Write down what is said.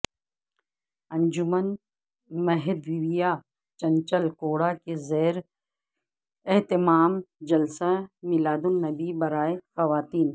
انجمن Mahdavia Chanchalguda کے زیر اہتمام جلسہ میلاد النبی برائے خواتین